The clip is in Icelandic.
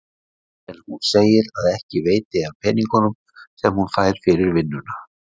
En hún segir að ekki veiti af peningunum sem hún fær fyrir vinnuna.